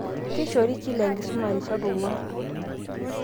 Keishori kila enkisuma rishat ong'uan.